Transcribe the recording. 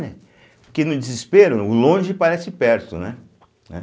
Porque no desespero, o longe parece perto, né? eh